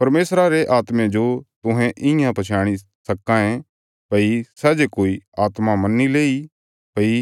परमेशरा रे आत्मे जो तुहें इयां पछयाणी सक्कां ये भई सै जे कोई आत्मा मन्नी लेईं भई